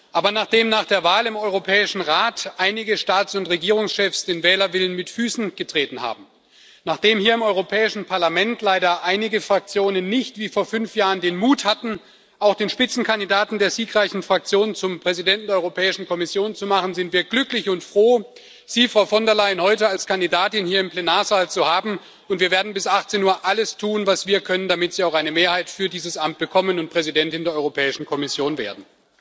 Aber nachdem nach der Wahl im Europäischen Rat einige Staats und Regierungschefs den Wählerwillen mit Füßen getreten haben, nachdem hier im Europäischen Parlament leider einige Fraktionen nicht wie vor fünf Jahren den Mut hatten, auch den Spitzenkandidaten der siegreichen Fraktion zum Präsidenten der Europäischen Kommission zu machen, sind wir glücklich und froh, Sie, Frau von der Leyen, heute als Kandidatin hier im Plenarsaal zu haben, und wir werden bis 18 Uhr alles tun, was wir können, damit Sie auch eine Mehrheit für dieses Amt bekommen und Präsidentin der Europäischen Kommission werden.